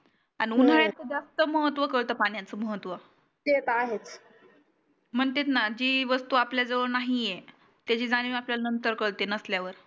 अन उन्हाळ्यात त जास्त महत्व कळत पाण्याचं महत्व म्हणतेत ना जे वस्तु आपला जवड नाही आहे त्याची जाणीव आपल्याला नंतर कळते नसलयावर